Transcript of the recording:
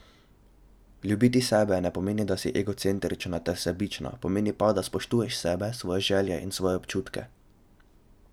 Ljubiti sebe ne pomeni, da si egocentrična ter sebična, pomeni pa, da spoštuješ sebe, svoje želje in svoje občutke.